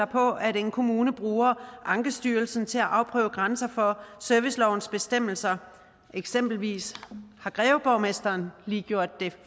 på at en kommune bruger ankestyrelsen til at afprøve grænser for servicelovens bestemmelser eksempelvis har greveborgmesteren gjort det